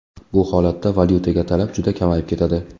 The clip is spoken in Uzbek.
Bu holatda valyutaga talab juda kamayib ketadi.